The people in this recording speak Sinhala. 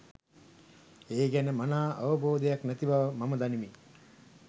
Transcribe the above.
ඒ ගැන මනා අවබෝධයක් නැති බව මම දනිමි.